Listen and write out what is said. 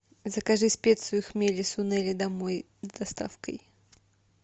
закажи специю хмели сунели домой с доставкой